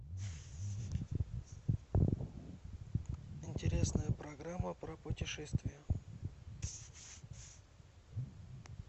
интересная программа про путешествия